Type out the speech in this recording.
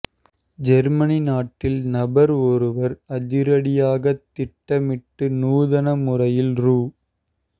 Germany நாட்டில் நபர் ஒருவர் அதிரடியாக திட்டமிட்டு நூதன முறையில் ரூ